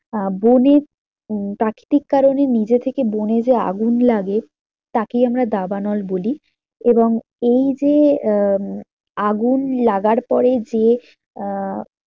আহ বনে উম প্রাকৃতিক কারণে নিজে থেকে বনে যে আগুন লাগে তাকেই আমরা দাবানল বলি। এবং এই যে আহ আগুন লাগার পরে যে আহ